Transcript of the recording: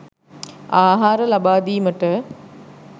ආහාර ලබාදීමට